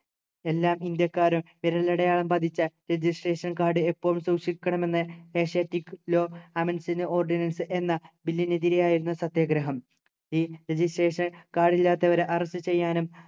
എല്ലാ ഇന്ത്യക്കാരും വിരലടയാളം പതിച്ച registration card എപ്പോഴും സൂക്ഷിക്കണമെന്നു asiatic law amends and ordinance എന്ന bill നു എതിരെയായിരുന്നു സത്യാഗ്രഹം ഈ registration card ഇല്ലാത്തവരെ arrest ചെയ്യാനും